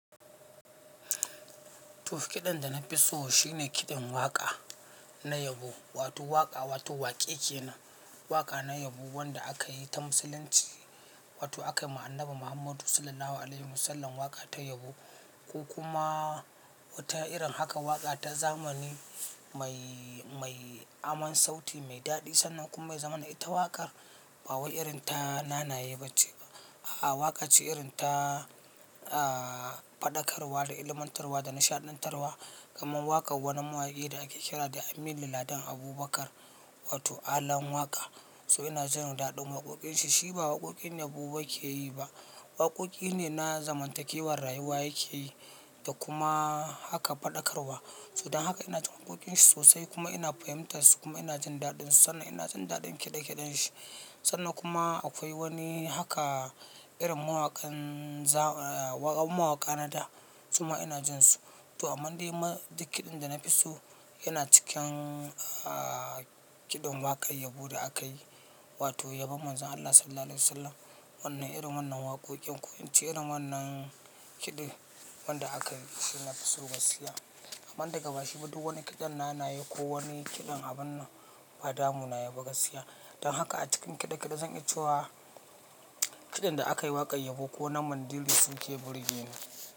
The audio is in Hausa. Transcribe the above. Tuf kiɗan da na fi so shine kiɗan waƙa na yabo, wato waƙa, wato waƙe kenan, waƙa na yabo wanda aka yi ta Musulunci, wato aka yi ma Annabi Muhammadu Sallallahu Alaihi Wasallam waƙa ta yabo, ko kuma wata irin haka waƙa ta zamani mai, mai aman sauti mai daɗi sannan kuma yazamana ita waƙar ba wai irin ta nanaye ba ce. A'a, waƙa ce irin ta, ah, faɗakarwa da ilmantarwa da nishaɗantarwa. Kaman waƙar wani mawaƙi da ake kira da Aminu Ladan Abubakar, wato Alan Waƙa. So ina jin daɗin waƙoƙin shi, shi ba waƙoƙin yabo yake yi ba. Waƙoƙi ne na zamantakewar rayuwa yake yi da kuma haka faɗakarwa. Don haka ina jin waƙoƙin shi sosai kuma ina fahimtar su kuma ina jin daɗin su sannan ina jin daɗin kiɗe-kiɗen shi. Sannan kuma akwai wani haka irin mawaƙan za-- a mawaƙa na da, kuma ina jin su. To amma dai ma duk kiɗan da na fi so yana cikin, ah, kiɗan waƙar yabo da aka yi, wato yabon Manzon Allah Sallallahu Alaihi Wasallam. Wannan irin wannan waƙoƙin ko ince irin wannan kiɗin wanda aka yi shi na fi so gaskiya. Amma daga bashi ba duk wani kiɗan nanaye ko wani kiɗan abun nan ba damuna yayi ba gaskiya. Don haka a cikin kiɗe-kiɗe zan iya cewa kiɗan da aka yi waƙar yabo ko na Mandiri su ke burge ni.